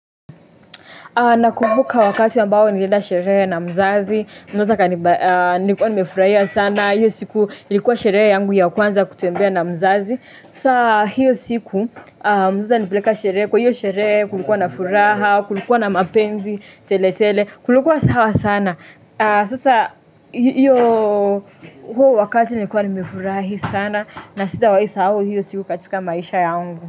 Nakubuka wakati ambao nilieda sherehe na mzazi. Mzazi ka nilikuwa nimefurahia sana. Hiyo siku ilikuwa sherehe yangu ya kwanza kutembea na mzazi. Saa hiyo siku mzazi alinipeleka sherehe. Kwa hiyo sherehe kulikuwa na furaha, kulikuwa na mapenzi, tele tele. Kulikuwa sawa sana. Sasa hiyo huo wakati nilikuwa nimefurahi sana. Na sidawai sahau hiyo siku katika maisha yangu.